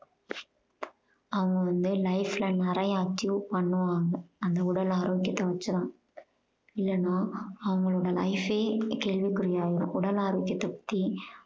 அவங்க வந்து life ல நிறைய achieve பண்ணுவாங்க அந்த உடல் ஆரோக்கியத்தை வச்சு தான் இல்லனா அவங்களோட life ஏ கேள்விக்குறி ஆயிரும். உடல் ஆரோக்கியத்தை பத்தி